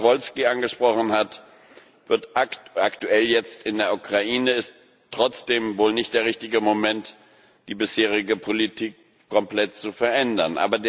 auch Herr Saryusz Wolski angesprochen hat aktuell jetzt in der Ukraine ist trotzdem wohl nicht der richtige Moment, die bisherige Politik komplett zu verändern.